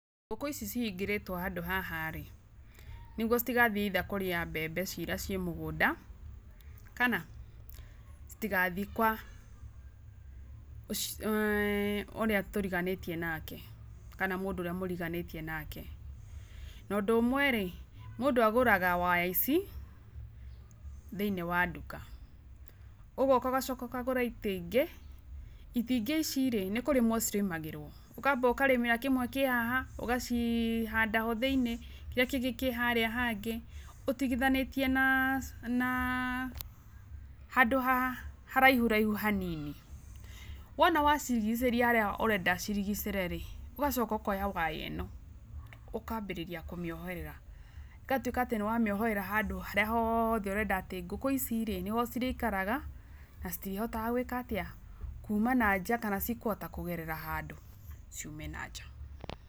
Ngũkũ ici cihingĩrĩtwe handũ ha rĩ, nĩguo citigathiĩ either kũrĩa mbembe cirĩa ci mũgũnda kana citigathii kwa[uhh] ũrĩa tũriganĩtie nake kana mũndũ ũrĩa mũriganĩtie nake, na ũndũ ũmwe rĩ mũndũ agũraga waya ici thĩinĩ wa nduka, ũgoka ũgacoka ũkagũra ĩkĩngĩ, ĩkĩngĩ ici rĩ nĩ kũrĩmwa cirimagĩrwo, ũkamba ũkarĩmĩra kĩmwe kĩa haha ũgacihanda othĩinĩ kĩrĩa kĩngĩ kĩ harĩa hangĩ ũtigithanĩtie na[uhh]handũ haraihu raihu hanini, wona wacirigicĩria harĩa ũrenda cirigicĩre rĩ ũgaoka ũkoya waya ĩno ũkambĩrĩria kũmĩoherera ũgatũĩka atĩ nĩwamĩoherera handũ harĩa hothe ũrenda atĩ ngũkũ ici rĩ niho cirĩikaraga na citihotaga gwĩka atĩa ,kuuma na nja kana cikũhota kũgerera handũ ciume na nja.